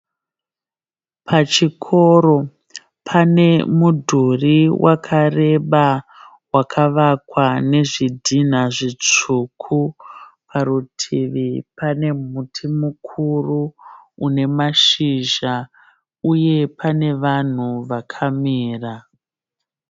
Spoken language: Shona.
Pachikoro panemudhuri wakareba wakavakwa nezvidhina zvitsvuku. Parutivi pane muti mukuru unemashizha uye pane vanhu vakamira.